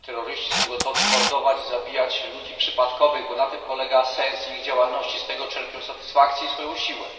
Terroryści są gotowi mordować i zabijać ludzi przypadkowych, bo na tym polega sens ich działalności, z tego czerpią satysfakcję i swoją siłę.